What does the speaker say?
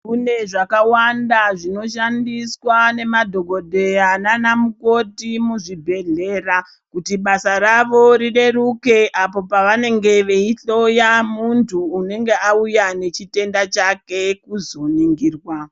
Kune zvakawanda zvinoshandiswa nemadhogodheya nana mukoti muzvibhedhleya. Kuti basa ravo rireruke apo pavanenge veihloya muntu unonga auya nechitenda chake kuzoningirwa.